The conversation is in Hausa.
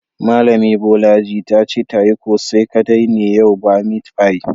Malami Bolaji ta ce ta yi kose kadai ne yau ba meat pie.